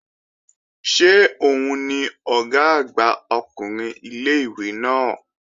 Ṣé òun ni Ọ̀gá àgbà ọkùnrin ilé-ìwé náà?